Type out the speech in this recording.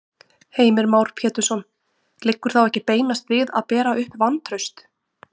Heimir Már Pétursson: Liggur þá ekki beinast við að bera upp vantraust?